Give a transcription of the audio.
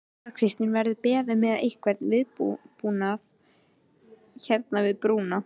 Þóra Kristín: Verðið þið með einhvern viðbúnað hérna við brúna?